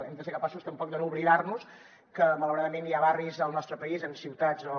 hem de ser capaços també de no oblidar nos que malauradament hi ha barris al nostre país en ciutats o